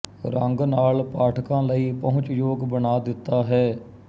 ੰਗ ਨਾਲ ਪਾਠਕਾਂ ਲਈ ਪਹੁੰਚਯੋਗ ਬਣਾ ਦਿੱਤਾ ਹੈ